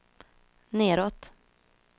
nedåt